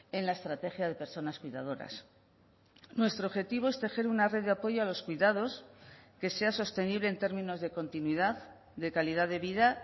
en la estrategia de personas cuidadoras nuestro objetivo es tejer una red de apoyo a los cuidados que sea sostenible en términos de continuidad de calidad de vida